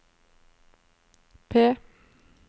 P